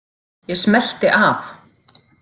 Ég smellti af.